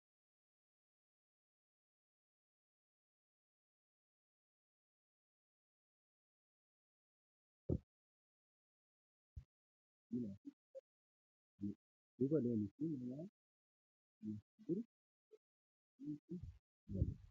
Bakka kanatti kan argamu nama looniin midhaan calleessaa jiru argina. Akkasumalleeloon kun halluu garaagaraa kan qabaniidha. halluun loon kunneenis diimaafi gurraacha kan qabaniidha. duuba looniifi nama kanaa kan jiru biqiloota . Loon kun midhaan nyaachaa jiru.